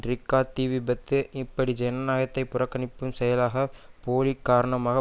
ரிக்டாக் தீவிபத்து இப்படி ஜனநாயகத்தை புறக்கணிக்கும் செயலுக்கு போலி காரணமாக